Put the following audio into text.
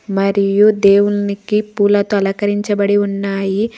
మరియు దేవునికి పూలతో అలంకరించబడి ఉన్నాయి.